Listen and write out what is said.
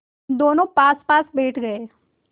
दोेनों पासपास बैठ गए